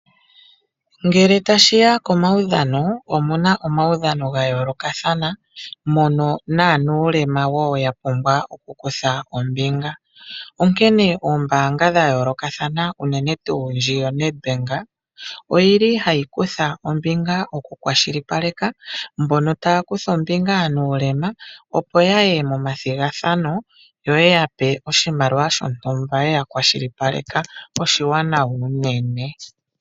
Ngele tashi ya komaudhano omu na omaudhano ga yoolokathana, mono naa mbono ye na uulema wo ya pumbwa okukutha ombinga. Onkene oombaanga dha yoolokathana unene tuu ndji yoNedbank, ohayi kutha ombinga okukwashilipaleka mbono taya kutha ombinga ye na uulema, opo ya ye momathigathano yo ye ya pe oshimaliwa shontumba ye ya kwashilipaleka. Oshiwanawa unene.